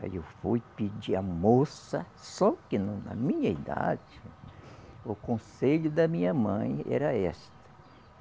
Aí eu fui pedir à moça, só que no na minha idade, o conselho da minha mãe era esta.